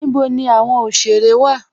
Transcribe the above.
Níbò ní awọn oṣere wa?